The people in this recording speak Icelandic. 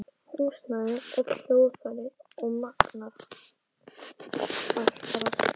Húsnæði, öll hljóðfæri og magnara, allt draslið.